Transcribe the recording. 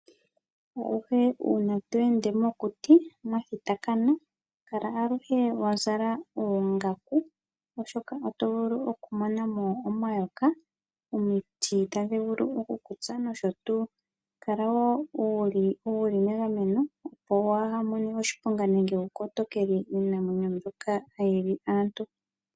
Aluhe uuna tweende mokuti mwa thitakana kala aluhe wa zala oongaku. Oshoka oto vulu okumona mo omayoka, omiti tadhi vulu okukutsa nosho tuu. Kala wo wuli megameno opo waamone oshiponga nenge wukotokele iinamwenyo mbyoka hayi li aantu.